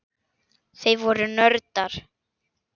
Þau voru nördar.